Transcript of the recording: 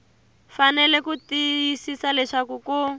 fanele ku tiyisisa leswaku ku